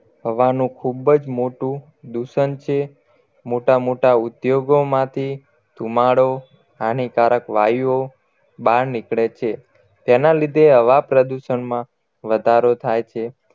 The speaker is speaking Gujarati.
હવાનું ખુબ જ મોટું દુષણ છે મોટા મોટા ઉદ્યોગો માથી ધુમાડો હાનિકારક વાયુઓ બહાર નીકળે છે તેના લીધે હવા પ્રદૂષણમાં વધારો થાય છે